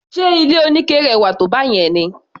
Ṣe ilé oníke rẹwà tó báyẹn ni?